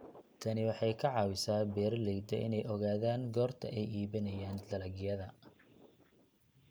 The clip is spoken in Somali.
Tani waxay ka caawisaa beeralayda inay ogaadaan goorta ay iibinayaan dalagyada.